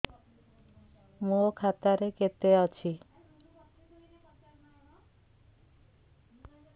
ମୋ ଖାତା ରେ କେତେ ଅଛି